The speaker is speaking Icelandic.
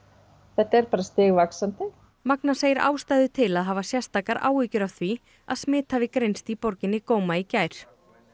þetta er stigvaxandi magna segir ástæðu til að hafa sérstakar áhyggjur af því að smit hafi greinst í borginni Goma í gær